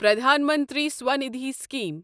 پرٛدھان منتری سوندھی سِکیٖم